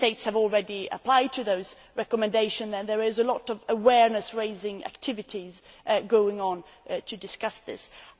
Many States have already applied those recommendations and there are a lot of awareness raising activities going on to discuss this issue.